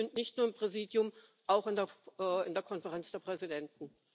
Also bitte schön nicht nur im Präsidium, auch in der in der Konferenz der Präsidenten!